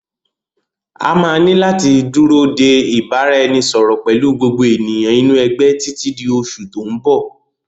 A máa ní láti dúró de ìbáraẹnisọọ̀rọ̀ pẹ̀lú gbogbo ènìyàn inú ẹgbẹ́ títí di oṣù tòun bọ̀.